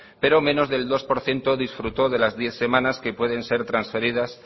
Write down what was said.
pero menos del dos por ciento disfrutó de las diez semanas que pueden ser transferidas